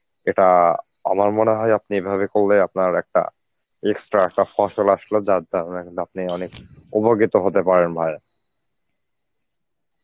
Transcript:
এটা আমার মনে হয় আপনি এভাবে করলে আপনার একটা extra একটা ফসল আসলেও মানে কিন্তু আপনি অনেক উপকৃত হতে পারেন ভাই.